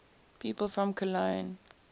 people from cologne